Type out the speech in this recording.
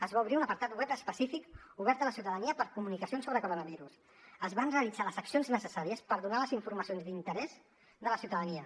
es va obrir un apartat web específic obert a la ciutadania per a comunicacions sobre coronavirus es van realitzar les accions necessàries per donar les informacions d’interès de la ciutadania